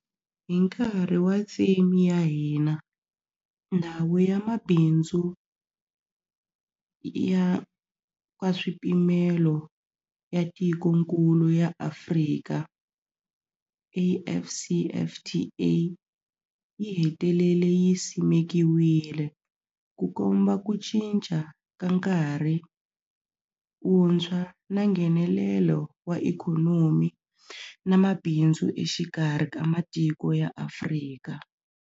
Hi nkarhi wa theme ya hina, Ndhawu ya Mabindzu ya Nkaswipimelo ya Tikokulu ra Afrika, AfCFTA, yi hetelele yi simekiwile, Ku komba ku cinca ka nkarhi wuntshwa wa Nghenelelo wa ikhonomi na mabindzu exikarhi ka matiko ya Afrika.